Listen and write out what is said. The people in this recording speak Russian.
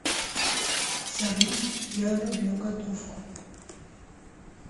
салют я люблю готовку